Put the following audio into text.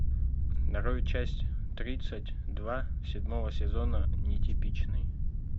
нарой часть тридцать два седьмого сезона нетипичный